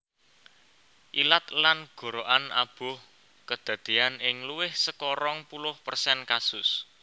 Ilat lan gorokan abuh kedadeyan ing luwih saka rong puluh persen kasus